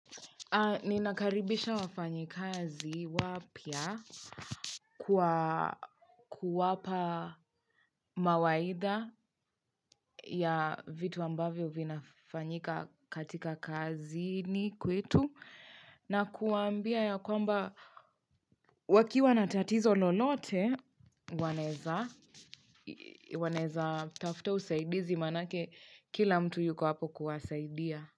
Ninakaribisha wafanyikazi wapya kwa kuwapa mawaida ya vitu ambavyo vinafanyika katika kazini kwetu na kuwa ambia ya kwamba wakiwa na tatizo lolote wanaweza wanaweza tafuta usaidizi manake kila mtu yuko hapo kuwasaidia.